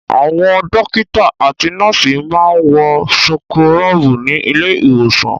Àwọn dọ́kítá àti nọ́ọ́sì máa ń wọ súkúrọ́bù ní ilé-ìwòsàn.